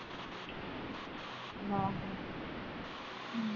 ਆਹੋ